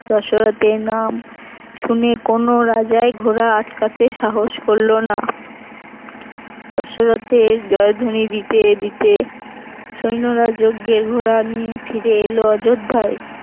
দশরথের নাম শুনে কোন রাজাই ঘোড়া আটকাতে সাহস করল না দশরথের জয়ধ্বনি দিতে দিতে সৈন্যরা যজ্ঞের ঘোড়া নিয়ে ফিরে এলো অযোধ্যায়।